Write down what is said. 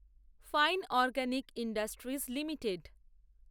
fine organic industries limited